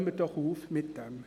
Hören wir auf damit.